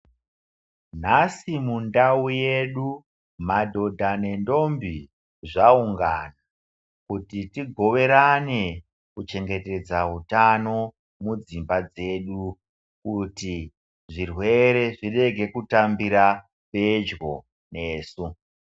Nhasi mundau yedu madhodha nendombi zvaungana kuti tigoverane kuchengetedza utano mudzimba dzedu, kuti zvirwere zvirege kutambira pedyo nesu.